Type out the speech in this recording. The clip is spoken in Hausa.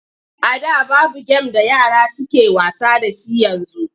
A da babu gem da yara suke wasa da shi yanzu.